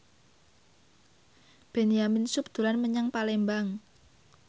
Benyamin Sueb dolan menyang Palembang